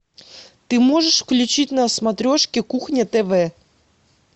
ты можешь включить на смотрешке кухня тв